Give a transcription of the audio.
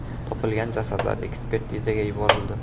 Topilgan jasadlar ekspertizaga yuborildi.